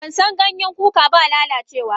Bansan Ganyen kuka ba lalacewa ba.